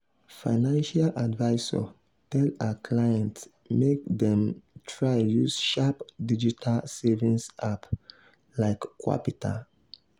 financial advisor tell her clients make dem try use sharp digital savings apps like qapital.